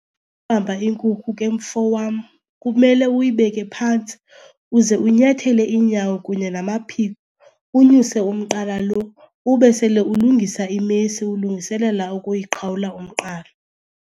inkukhu ke mfo wam kumele uyibeke phantsi uze unyathele iinyawo kunye namaphiko, unyuse umqala lo. Ube sele ulungisa imesi ulungiselela ukuyiqhawula umqala.